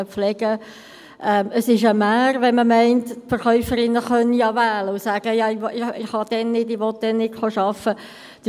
Es ist eine Mär, wenn man meint, die Verkäuferinnen könnten ja wählen und sagen: «Dann kann oder will ich nicht arbeiten kommen.